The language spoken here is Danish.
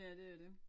Ja det er det